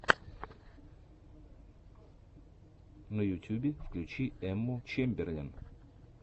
на ютюбе включи эмму чемберлен